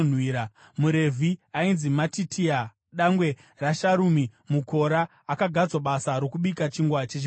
MuRevhi ainzi Matitia, dangwe raSharumi muKora, akagadzwa basa rokubika chingwa chechipiriso.